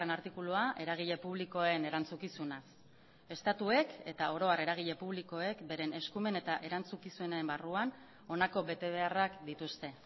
artikulua eragile publikoen erantzukizunaz estatuek eta oro har eragile publikoek beren eskumen eta erantzukizunen barruan honako betebeharrak dituzte